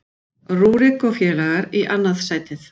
Rúrik og félagar í annað sætið